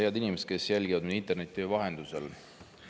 Head inimesed, kes jälgivad meid interneti vahendusel!